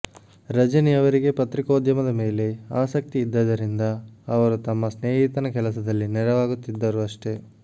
ರಜನಿ ಅವರಿಗೆ ಪತ್ರಿಕೋಧ್ಯಮದ ಮೇಲೆ ಆಸಕ್ತಿ ಇದ್ದಿದ್ದರಿಂದ ಅವರು ತಮ್ಮ ಸ್ನೇಹಿತನ ಕೆಲಸದಲ್ಲಿ ನೆರವಾಗುತ್ತಿದ್ದರು ಅಷ್ಟೇ